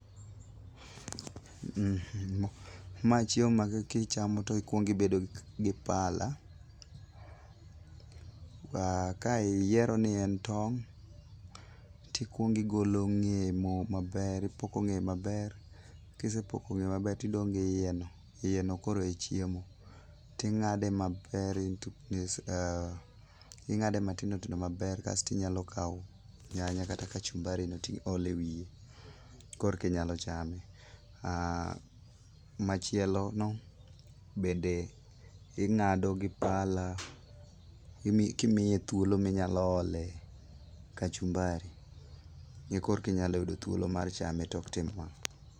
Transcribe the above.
Ma chiemo ma kichamo tikwongo ibedo gi pala, ka iyiero ni en tong' tikwongo igolo ng'eye maber, ipoko ng'eye maber. Kisepoko ng'eye maber tidong' gi iyeno. Iyeno koro e chiemo ,ting'ade maber . Ing'ade matindo tindo maber kasto inyalo kawo nyanya kata kachumbari no tiole wiye, korki nyalo chame. Machielono, bende ing'ado gi pala, kimiye thuolo minyalo ole kachumbari, korki nyalo yudo thuolo mar chame tok timo mano.